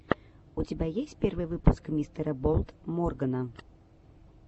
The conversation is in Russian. у тебя есть первый выпуск мистера болд моргана